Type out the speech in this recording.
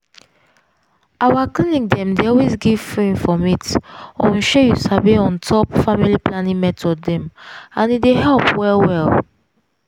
our clinic dem dey always give free informate on shey you sabi on top family planning method dem and im dey help well well.